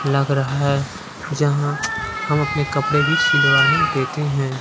लग रहा है जहां हम अपने कपड़े भी सिलवाने देते हैं।